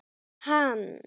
Hann leit á Vilhelm.